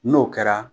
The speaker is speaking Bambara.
N'o kɛra